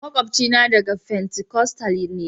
makwabcina daga fentikostal ne.